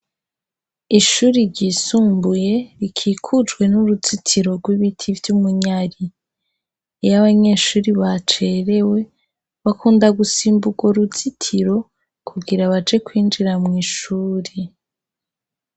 Ishuri ryisumbuye rikikujwe n'uruzitiro rw'ibiti vy'umunyari. Iyo abanyeshure bacerewe, bakunda gusimba urwo ruzitiro, kugira baje kwinjira mw' ishuri.